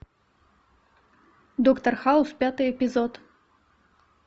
доктор хаус пятый эпизод